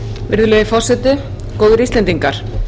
virðulegi forseti góðir íslendingar